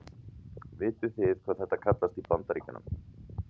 Vitið þið hvað þetta kallast í Bandaríkjunum?